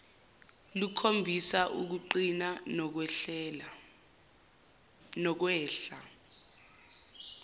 lukhombisa ukuqina nokwehla